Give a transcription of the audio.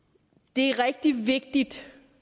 det er rigtig vigtigt